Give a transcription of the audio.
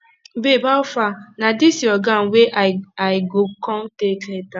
babe howfar na dis your gown wey i i go come take later